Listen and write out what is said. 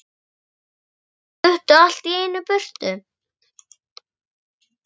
En þeir fluttu allt í einu í burtu.